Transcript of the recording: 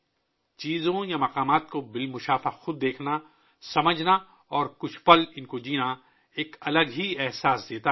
چیزوں یا مقامات کو ذاتی طور پر دیکھنا، ان کو سمجھنا اور چند لمحوں کے لیے جینا، ایک مختلف تجربہ پیش کرتا ہے